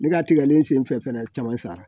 Ne ka tigɛlen senfɛ fɛnɛ caman sara